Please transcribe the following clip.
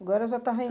Agora já está